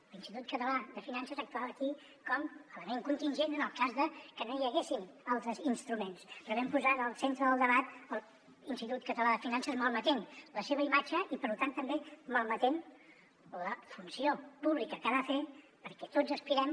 l’institut català de finances actuava aquí com a element contingent en el cas de que no hi haguessin altres instruments però vam posar en el centre del debat l’institut català de finances malmetent la seva imatge i per tant també malmetent la funció pública que ha de fer perquè tots aspirem